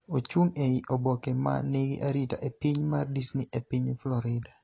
ochung' ei oboke ma nigi arita e piny mar Disney e piny Florida